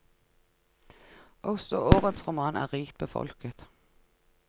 Også årets roman er rikt befolket.